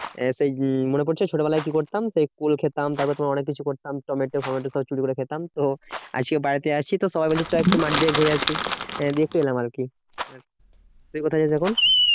সেই উম মনে পড়ছে? ছোট বেলায় কি করতাম? সেই কুল খেতাম তারপরে তোমার অনেক কিছু করতাম। টমেটো ফোমেটো সব চুরি করে খেতাম। তো আজকে বাড়িতে আছি তো সবাই মিলে চ একটু মাঠ দিয়ে ঘুরে আসি আহ দেখে এলাম আরকি। তুই কোথায় এখন?